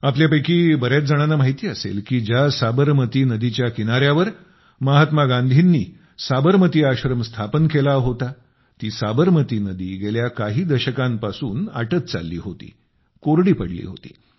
आपल्यापैकी बऱ्याच जणांना माहिती असेल की ज्या साबरमती नदीच्या किनाऱ्यावर महात्मा गांधींनी साबरमती आश्रम स्थापन केला होता ती साबरमती नदी गेल्या काही दशकांपासून आटत चालली होती कोरडी पडली होती